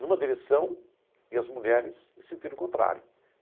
numa direção e as mulheres em sentido contrário.